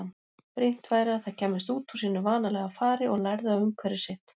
Brýnt væri að það kæmist út úr sínu vanalega fari og lærði á umhverfi sitt.